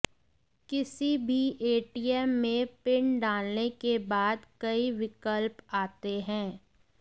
किसी भी एटीएम में पिन डालने के बाद कई विकल्प आते हैं